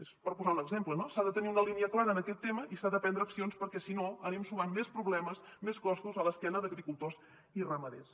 és per posar un exemple no s’ha de tenir una línia clara en aquest tema i s’han de prendre accions perquè si no anem sumant més problemes més costos a l’esquena d’agricultors i ramaders